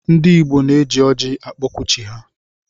Ndi igbo na eji ọji akpọku chi ha.